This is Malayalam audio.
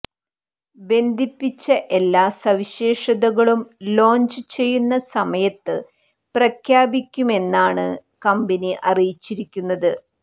ബന്ധിപ്പിച്ച എല്ലാ സവിശേഷതകളും ലോഞ്ച് ചെയ്യുന്ന സമയത്ത് പ്രഖ്യാപിക്കുമെന്നാണ് കമ്പനി അറിയിച്ചിരിക്കുന്നത്